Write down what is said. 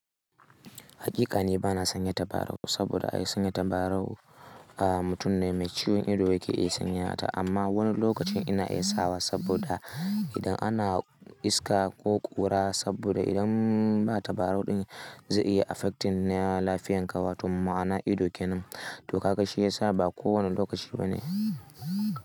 Hakikane ba na sanya tabarau saboda ai sanya tabarau mutum ne mai ciwon ido yake iya sanyata amma wani lokacin ina iya sawa saboda idan ana iska ko ƙura saboda idan ba tabarau din zai iya affecting na lafiyan ka watan ma ana ido kenan to karka shi yasa ba kowane lokaci bane.